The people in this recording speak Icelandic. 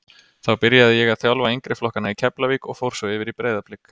Þá byrjaði ég að þjálfa yngri flokkana í Keflavík og fór svo yfir í Breiðablik.